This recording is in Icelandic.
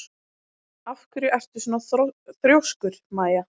Af hverju ertu svona þrjóskur, Maia?